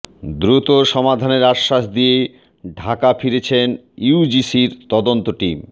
দ্রুত সমাধানের আশ্বাস দিয়ে ঢাকা ফিরেছেন ইউজিসির তদন্ত টিম